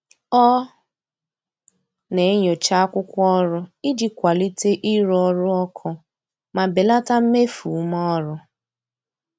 Ọ na-enyocha akwụkwọ ọrụ iji kwalite ịrụ ọrụ ọkụ ma belata mmefu ume ọrụ.